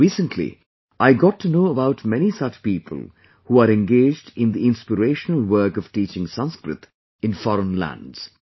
Recently, I got to know about many such people who are engaged in the inspirational work of teaching Sanskrit in foreign lands